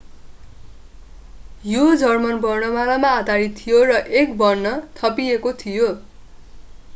यो जर्मन वर्णमालामा आधारित थियो र एक वर्ण õ/õ” थपिएको थियो।